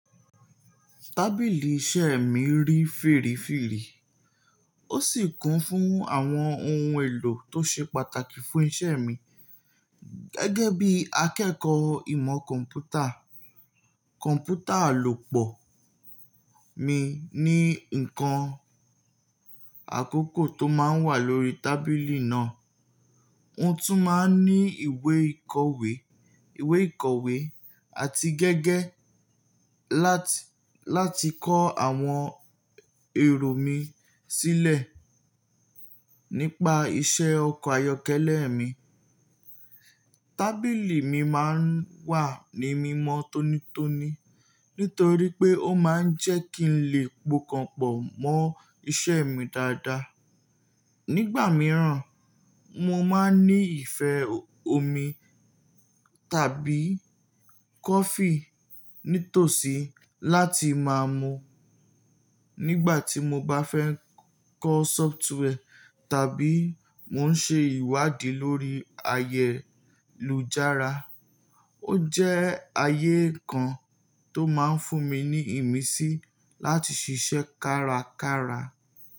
Tábìlì iṣẹ́ mi rí fèrèfèrè, ó sì kún fún àwọn ohun èlò tó ṣe pàtàkì fún iṣẹ́ mi. Gẹ́gẹ́ bí akẹ́kọ̀ọ́ ìmọ̀ kọ̀ḿpútà, kọ̀ḿpútà alopọ̀ mi ní nǹkan àkókò tó máa ń wà lórí tábìlì náà. Mo tún máa ń ní ìwé ìkọ̀wé, ìwé ìkọ̀wé àti gẹgẹ láti, láti kọ́ àwọn èrò mi sílẹ̀ nípa iṣẹ́ ọkọ̀ ayọ́kẹ́lẹ́ mi. Tábìlì mi máa ń wà ní mímọ́ tónítóni nítorí pé ó máa ń jẹ́ kí n lè po ọkàn pọ̀ mọ́ iṣẹ́ mi dáadáa. Nígbà mìíràn, mo máa ń ní ìfẹ́ omi tàbí kọfí nítòsí láti máa mu nígbà tí mo bá fẹ́ ń kọ́ sófútwẹ́ẹ̀ tàbí mò ń ṣe ìwádìí lórí ayélujára. Ó jẹ́ ayé kan tó máa ń fún mi ní ìmísí láti ṣiṣẹ́ kárakára.